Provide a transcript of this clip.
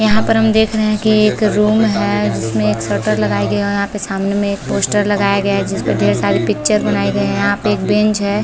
यहाँ पर हम देख रहे है कि यह एक रूम है जिसमें एक शटर लगाई गई है और यहाँ पे सामने में एक पोस्टर लगाया गया है जिसपे ढेर सारे पिक्चर बनाये गये है यहाँ पे एक बेंच हैं ।